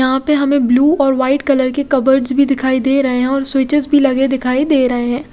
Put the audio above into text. यहाँ पर हमे ब्लू और वाईट कलर के कब्र्ट्स भी दिखाई दे रहे है और स्विचेस भी लगे दिखाई दे रहे है।